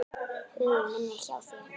Hugur minn er hjá þér.